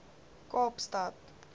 kaapstad